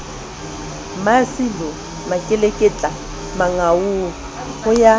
mmasilo makeleketla mangaung ho ya